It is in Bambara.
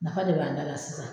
Nafa de b'an da la sisan